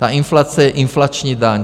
Ta inflace je inflační daň.